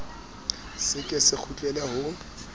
se ke se kgutlele ho